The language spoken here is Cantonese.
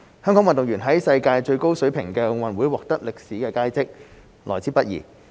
香港運動員在世界最高水平的奧運獲得歷史佳績，來之不易。